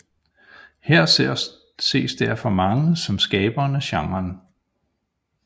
Han ses derfor af mange som skaberen af genren